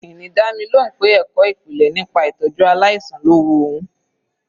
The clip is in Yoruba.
Ini dá mi lóhùn pé ẹ̀kọ́ ìpìlẹ̀ nípa ìtọ́jú aláìsàn lọ́ wu òun.